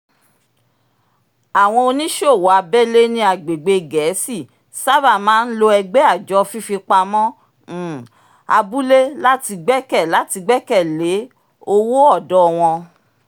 àwọn oníṣòwò abẹ́lé ní agbègbè gẹ̀ẹ́si sábà máa ń lo ẹgbẹ́ àjọ fífipamọ́ um abúlé láti gbẹ̀kẹ̀ láti gbẹ̀kẹ̀ lé owó ọ̀dọ́ wọ́n